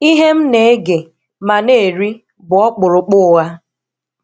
Ihe m na-ege ma na-eri bụ ọkpụrụkpụ ụgha.